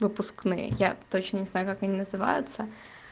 выпускные я точно не знаю как они называются